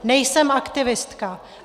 Nejsem aktivistka.